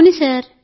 అవును సార్